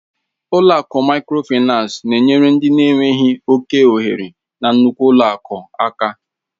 Ụlọ akụ Mikrofaịnsi na-enyere ndị na enweghị oke ohere na nnukwu ụlọ akụ aka